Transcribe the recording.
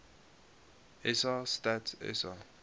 sa stats sa